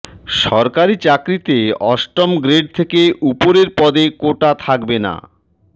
সরকারি চাকরিতে অষ্টম গ্রেড থেকে ওপরের পদে কোটা থাকবে না